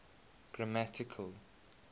grammatical